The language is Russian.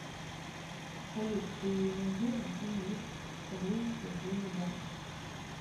салют ты не знаешь где есть поблизости отделение банка